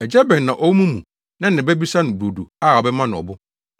“Agya bɛn na ɔwɔ mo mu na ne ba bisa no brodo a ɔbɛma no ɔbo,